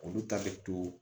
Olu ta bɛ to